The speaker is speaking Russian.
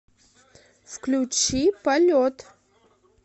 включи полет